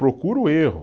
Procura o erro.